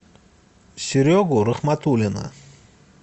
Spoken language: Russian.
серегу рахматуллина